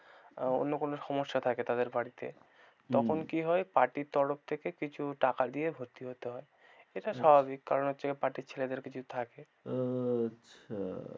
অন্য কোনো সমস্যা থাকে তাদের বাড়িতে তখন কি হয় party র তরফ থেকে কিছু টাকা দিয়ে ভর্তি হতে হয়, এটা স্বাভাবিক কারণ হচ্ছে কি party র ছেলেদের কিছু থাকে। আচ্ছা।